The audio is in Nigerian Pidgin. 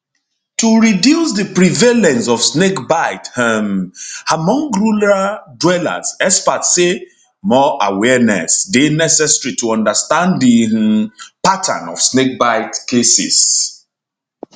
to reduce di prevalence of snakebite um among rural dwellers expert say more awareness dey necessary to understand di um pattern of snakebite cases